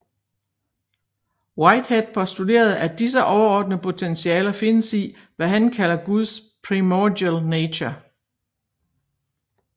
Whitehead postulerede at disse ordnede potentialer findes i hvad han kalder guds primordial nature